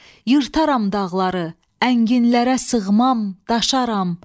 Yırtaram dağları, ənginlərə sığmam, daşaram.